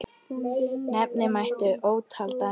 Nefna mætti ótal dæmi.